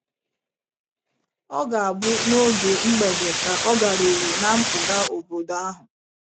Ọ ga - abụ n’oge mgbede ka ọ garuru ná mpụga obodo ahụ.